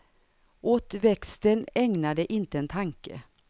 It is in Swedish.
Åt växten ägnar de inte en tanke.